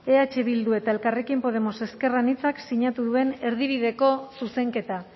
eh bildu eta elkarrekin podemos ezker anitzak sinatu duten erdibideko zuzenketa